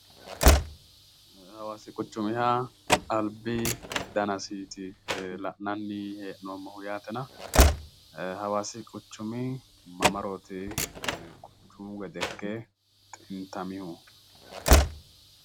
Hawaasi quchumiha albi danasiiti la'nanni hee'noommohu yaatena hawaasi quchumi mamarooti quchumu gede ikke xintamihu?